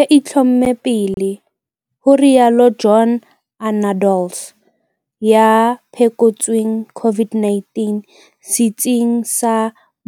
E itlhomme pele, ho rialo John Arnoldus, ya phekotsweng COVID-19 setsing sa